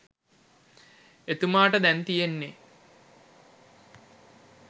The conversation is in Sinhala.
එතුමාට දැන් තියෙන්නේ